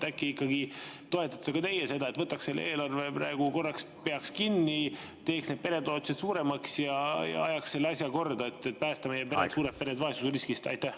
Äkki ikkagi toetate ka teie seda: peaks selle eelarve praegu korraks kinni, teeks need peretoetused suuremaks ja ajaks selle asja korda, et päästa meie suured pered vaesusriskist?